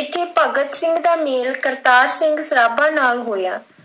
ਇੱਥੇੇ ਭਗਤ ਸਿੰਘ ਦਾ ਮੇਲ ਕਰਤਾਰ ਸਿੰਘ ਸਰਾਭਾ ਨਾਲ ਹੋਇਆਂ।